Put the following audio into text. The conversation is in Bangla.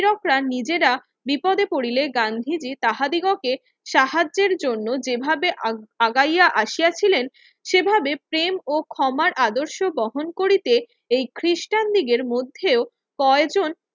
ইউরোপরা নিজেরা বিপদে পড়িলে গান্ধীজি তাহাদিগকে সাহায্যের জন্য যেভাবে আ আগাইয়া আসিয়াছিলেন সেভাবে প্রেম ও ক্ষমার আদর্শ বহন করিতে এই খ্রিস্টানদিকের মধ্যে কয়েকজন